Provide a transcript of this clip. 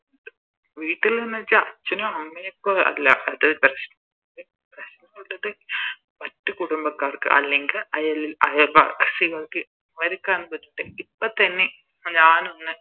വീട്ടില്ന്ന് വെച്ച അച്ഛനും അമ്മയ്ക്കും അല്ല അത് പ്രശ്നം പ്രശ്നം ഉള്ളത് മറ്റ് കുടുംബക്കാർക്ക അല്ലെങ്കി അയൽ അയൽവാസികൾക്ക് അവരിക്കാണ് ഇപ്പൊ തന്നെ ഞാനൊന്ന്